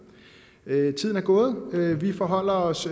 tiden er gået vi forholder os